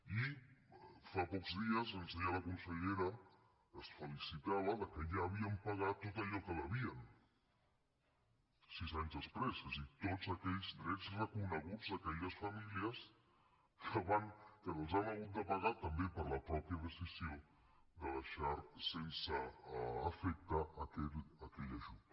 i fa pocs dies ens deia la consellera es felicitava que ja havien pagat tot allò que devien sis anys després és a dir tots aquells drets reconeguts a aquelles famílies que els han hagut de pagar també per la mateixa decisió de deixar sense efecte aquell ajut